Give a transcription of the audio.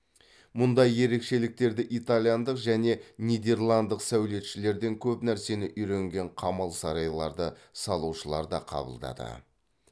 мұндай ерекшеліктерді италиялық және нидерландтық сәулетшілерден көп нәрсені үйренген қамал сарайларды салушылар да қабылдады